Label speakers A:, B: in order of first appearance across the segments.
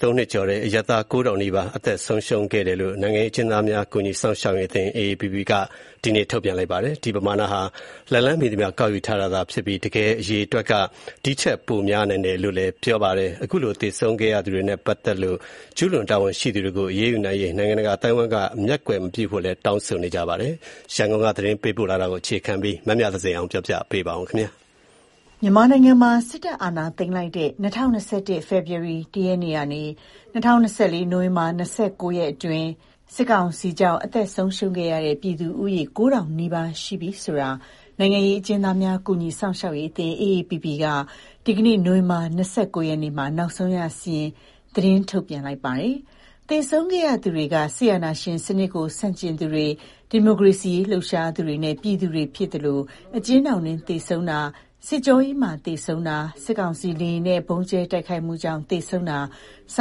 A: ၃ နှစ်ကျော်ကာလအတွင်းမှာ အရပ်သားပြည်သူ ၉,၀၀၀ နီးပါး အသက်ဆုံးခဲ့ရတယ်လို့ နိုင်ငံရေးအကျဉ်းသားများ ကူညီစောင့်ရှောက်ရေးအသင်း က ဒီကနေ့ သတင်းထုတ်ပြန်ပါတယ်။ ဒီပမာဏဟာ လက်လှမ်းမီသမျှ ကောက်ယူရရှိထားတဲ့ အရေအတွက်သာ ဖြစ်ပြီး တကယ် သေဆုံးသူအရေအတွက်ဟာ ဒီထက် ပိုများနိုင်တယ်လို့ ပြောပါတယ်။ စစ်အာဏာသိမ်း ကာလအတွင်း သေဆုံးခဲ့ရသူတွေနဲ့ပတ်သတ်လို့ ကျူးလွန်သူတွေနဲ့ တာဝန်ရှိသူတွေကို အရေးယူနိုင် ရေး နိုင်ငံတကာအသိုင်းအဝိုင်းက မျက်ကွယ်မပြုဖို့ တက်ကြွလှုပ်ရှားသူတွေကထောက်ပြ တောင်းဆို နေကြပါတယ်။ ဒီအကြောင်း ရန်ကုန်က သတင်းပေးပို့တဲ့သတင်းကို အခြေခံပြီး မမြသဇင်အောင်က တင်ပြပေးထားပါတယ်။
B: မြန်မာနိုင်ငံမှာ စစ်တပ်အာဏသိမ်းလိုက်တဲ့ ၂၀၂၁ ဖေဖော်ဝါရီ ၁ ရက်နေ့ကနေ ၂၀၂၄ နိုဝင်ဘာ ၂၉ ရက်နေ့အတွင်းစစ်ကောင်စီကြောင့် အသက်ဆုံးရှုံးခဲ့ရတဲ့ ပြည်သူဦးရေ ၉,၀၀၀ နီးပါးရှိနေပြီဆိုတာကို နိုင်ငံရေးအကျဉ်းသားများ ကူညီစောင့်ရှောက်ရေးအသင်း က ဒီကနေ့ နိုဝင်ဘာလ ၂၉ ရက် နေ့မှာ နောက်ဆုံးရစာရင်း သတင်းထုတ်ပြန်လိုက်တာပါ။ သေဆုံးခဲ့ရသူတွေက စစ်အာဏာရှင် စနစ်ကို ဆန့်ကျင်သူတွေ၊ ဒီမိုကရေစီရေးလှုပ်ရှားသူတွေနဲ့ ပြည်သူတွေဖြစ်သလို အကျဉ်းထောင်တွင်း သေဆုံးတာ၊ စစ်ကြောရေးမှာ သေဆုံးတာ၊ စစ်ကောင်စီလေယာဉ်နဲ့ ဗုံးကြဲတိုက်ခိုက်မှုကြောင့် သေဆုံးတာ စ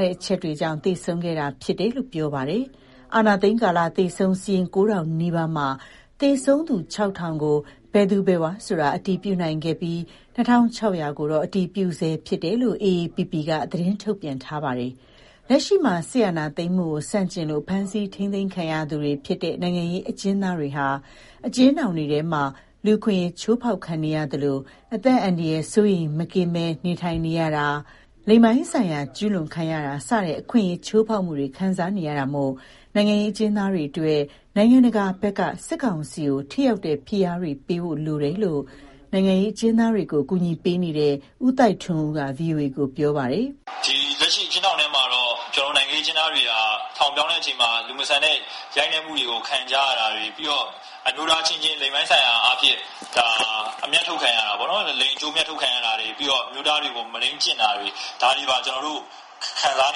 B: တဲ့အချက်တွေကြောင့် သေဆုံးခဲ့ရတာဖြစ်တယ်လို့ ပြောပါတယ်။ အာဏာသိမ်းကာလ သေဆုံးစာရင်း ၉,၀၀၀ နီးပါးမှာ သေဆုံးသူ ၆,၀၀၀ကိုတော့ မည်သူမည်ဝါဆိုတာ အတည်ပြုနိုင် ခဲ့ပြီး ၂,၆၀၀ ကိုတော့အတည်ပြုနေဆဲဖြစ်တယ်လို့ AAPP က သတင်းထုတ်ပြန်ထားပါတယ်။ လက်ရှိမှာ စစ်အာဏာသိမ်းမှုကို ဆန့်ကျင်လို့ ဖမ်းဆီးထိန်းသိမ်းခံထားရသူတွေဖြစ်တဲ့ နိုင်ငံရေး အကျဉ်းသားတွေဟာအကျဉ်းထောင်တွေထဲမှာ လူ့အခွင့်အရေးချိုး ဖောက်ခံနေရသလို အသက် အန္တရာယ် စိုးရိမ်မကင်းစွာ နေထိုင်နေရတာ၊လိင်ပိုင်းဆိုင်ရာ ကျူးလွန်ခံရတာ စတဲ့ လူ့အခွင့်အရေး ချိုးဖောက်မှုတွေကို ခံစားနေရတာမို့ နိုင်ငံရေးအကျဉ်းသားတွေအတွက် နိုင်ငံတကာဘက်က စစ်ကောင်စီကို ထိရောက်တဲ့ဖိအားတွေပေးဖို့လိုအပ်နေတယ်လို့ နိုင်ငံရေးအကျဉ်း သားတွေကို ကူညီပေးနေတဲ့ ဦးသိုက်ထွန်းဦးက ဗွီအိုအေကို ပြောပါတယ်။ "လက်ရှိအကျဉ်းထောင်တွေထဲမှ
A: ာနိုင်ငံရေးအကျဉ်းသားတွေဟာ ထောင်ပြောင်းချိန်မှာ လူမဆန်တဲ့ရိုက်နှက်မှုတွေကိုခံကြရတာ၊ အမျိုးသားအချင်းချင်းလိင် ပိုင်းဆိုင်ရာအမြတ်ထုတ်ခံရတာ အမျိုးသားတွေကို မုဒိန်းကျင့်တာတွေ ဒါတွေပါခံစား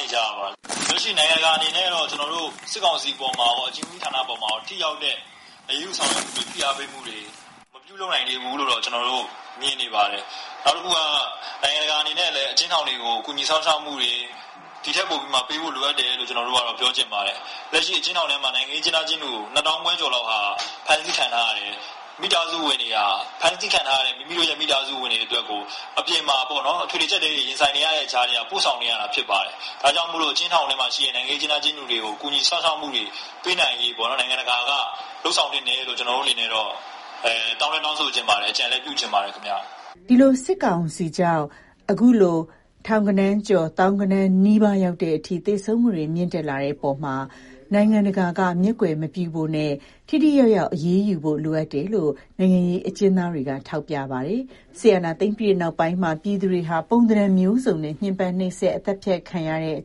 A: နေရတာပါ။ လက်ရှိနိုင်ငံတကာအနေနဲ့ကတော့ စစ်ကောင်စီအပေါ်မှာ ကော အကျဉ်းဦးစီးဌာနအပေါ်မှာကောထိရောက်တဲ့ အရေးယူဆောင်ရွက်မှုတွေ ဖိအားပေးမှုတွေ မပြုလုပ်နိုင်သေးဘူးလို့မြင်နေပါတယ်။ နိုင်ငံတကာအနေနဲ့အကျဉ်းသားတွေ အပေါ်ဒီထက် ပိုကူညီစောင့်ရှောက်သင့်တယ်လို့ပြောချင်ပါတယ်။ လက်ရှိအကျဉ်းထောင်ထဲမှာ နိုင်ငံရေးအကျဉ်းသားအကျဉ်းသူ ၂၅,၀၀၀ ကျော်လောက်ဟာ ဖမ်းဆီးခံထားရပါတယ်။ အပြင်မှာရှိတဲ့ မိသားစုဝင်တွေက အထွေထွေအကျပ်အတည်းထဲကနေ ဖမ်းဆီးခံထားရတဲ့ကိုယ့်မိသားစုဝင်တွေ အတွက်ပို့ဆောင်နေရတယ်။ ဒါကြောင့် အကျဉ်းထောင်ထဲမှာရှိတဲ့ အကျဉ်းသားတွေကို နိုင်ငံတကာ ဘက်က ကူညီပေးဖို့တောင်းဆိုပါတယ် အကြံလည်းပေးချင်ပါတယ်။
B: " ဒီလိုစစ်ကောင်စီကြောင့် အခုလို ထောင်ဂဏန်းကျော် သောင်းဂဏန်းနီးပါးရောက်တဲ့အထိ သေဆုံးမှုတွေ မြင့်တက်လာတဲ့အပေါ်မှာ နိုင်ငံတကာဘက်က မျက်ကွယ်မပြုဖို့ နိုင်ငံတကာဘက်က ထိထိရောက်ရောက်အရေးယူနိုင်ဖို့ လိုအပ်နေတယ်လို့ နိုင်ငံရေးအကျဉ်းသားတွေကလည်း ထောက်ပြပါတယ်။ စစ်အာဏာသိမ်းပြီးနောက်ပိုင်းမှာ ပြည်သူတွေဟာ ပုံသဏန်မျိုးစုံနဲ့ ညှင်းပမ်းနှိပ်စက် အသတ်ဖြတ်ခံ နေရ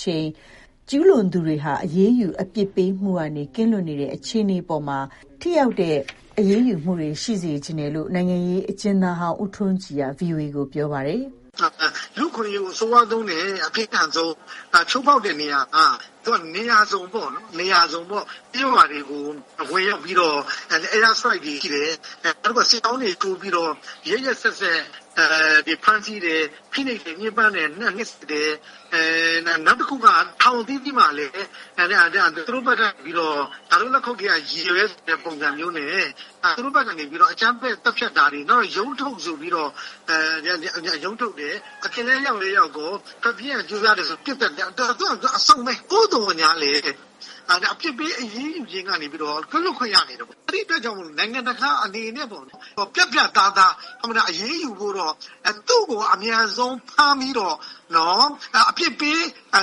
B: ချိန်ကျူးလွန်သူတွေဟာ အရေးယူအပြစ်ပေးမှုကနေ ကင်းလွတ်နေတဲ့အခြေအနေအပေါ် ထိရောက်တဲ့ အရေးယူမှုတွေရှိစေချင်ပါတယ်လို့ နိုင်ငံရေးအကျဉ်းသားဟောင်း ဦးထွန်းကြည်က ဗွီအိုအေကိုပြောပါတယ်။
C: “လူ့အခွင့်အရေးကို အဆိုးဝါးဆုံးနဲ့အပြင်းထန်ဆုံး ချိုးဖောက်တဲ့နေရာက နေရာစုံပေါ့- ကျေးရွာ တွေကို ဝင်ရောက်ပြီးတော့ airstrike တွေရှိတယ်။ နောက်ပြီးတော့ စစ်ကြောင်းတွေထိုးပြီးတော့ ရက်ရက်စက်စက်ဖမ်းဆီးတယ်၊ ဖိနှိပ်တယ်၊ ညှင်းပန်းတယ်။ နောက်တခုက ထောင်အသီးသီးမှာလည်း သူတို့ဘက်ကနေပြီးတော့ ‘ငါတို့လက်ခုပ်ထဲက ရေပဲ’ဆိုတဲ့ပုံမျိုးနဲ့ သူတို့ဘက်ကနေပြီးတော့ အကြမ်းဖက် သတ်ဖြတ်တာတွေ၊ နောက် ရုံးထုတ်ဆိုပြီးတော့ ရုံးထုတ်တယ်။ အပြင်လည်းရောက်ရော ထွက်ပြေးရန်ကြိုးစားတယ်ဆိုပြီး ပစ်သတ်တယ်၊ သူက အစုံပဲ။ သို့သော်ငြားလည်း အပစ်ပေး အရေးယူခြင်းကနေပြီးတော့ ကင်းလွတ်ခွင့်ရနေတယ်ပေါ့။ အဲဒါကြောင့်မို့လို့ နိုင်ငံတကာအနေနဲ့ ပြတ်ပြတ်သားသား အရေးယူဖို့တော့ သူ့ကိုအမြန်ဆုံး ဖမ်းပြီးတော့ အပြစ်ပေးအ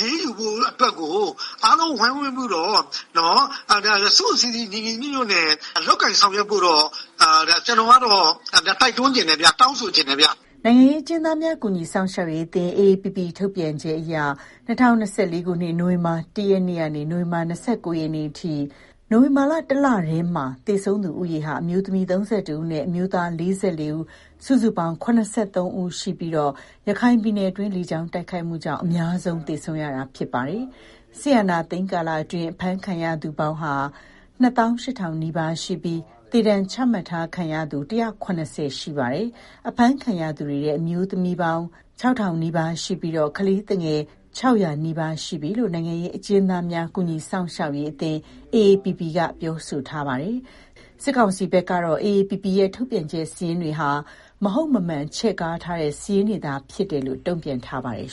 C: ရေးယူဖို့အတွက်ကို အားလုံးဝိုင်းဝန်းပြီးတော့ စုစုစည်းစည်း ညီညီညွတ်ညွတ်နဲ့ လုပ်ကိုင်ဆောင်ရွက်ဖို့တော့ ကျနော်ကတော့ တိုက်တွန်းချင်တယ်ဗျ၊ တောင်းဆိုချင်တယ်ဗျ။
B: ” နိုင်ငံရေးအကျဉ်းသားများ ကူညီစောင့်ရှောက်ရေးအသင်း ထုတ်ပြန်ချက်အရ ၂၀၂၄ ခုနှစ် နိုဝင်ဘာလ ၁ ရက်နေ့မှ နိုဝင်ဘာလ ၂၉ ရက်နေ့အထိ နိုဝင်ဘာလ တလတည်းမှာကို သေဆုံးသူ ဦးရေဟာ အမျိုးသမီး ဦး နဲ့အမျိုးသား စုစုပေါင်း ဦး သေဆုံးခဲ့ရပြီး ရခိုင်ပြည်နယ် တွင်း လေကြောင်းတိုက်ခိုက်မှုကြောင့် အများဆုံးသေဆုံးခဲ့ကြရတာဖြစ်ပါတယ်။ စစ်အာဏာသိမ်းကာလအတွင်း အဖမ်းခံရသူပေါင်းက နှစ်သောင်းရှစ်ထောင် နီးပါးရှိနေပြီး သေဒဏ်ချမှတ်ခံထားရသူက တရာ့ခုနှစ်ဆယ် ရှိနေပါတယ်။ အဖမ်းခံရသူတွေထဲ အမျိုးသမီး ပေါင်း ခြောက်ထောင်နီးပါးရှိပြီး ကလေးသူငယ်က ခြောက်ရာနီးပါးရှိနေပါပြီလို့ နိုင်ငံရေးအကျဉ်းသားများ ကူညီစောင့်ရှောက်ရေးအသင်း က ပြောဆိုထားပါတယ်။ စစ်ကောင်စီဘက်ကတော့ AAPP ရဲ့ ထုတ်ပြ န်ချက် စာရင်းတွေက မဟုတ်မမှန် ချဲ့ကားထားတဲ့ စာရင်းတွေသာဖြစ်တယ်လို့ တုံ့ပြန်ထားပါတယ်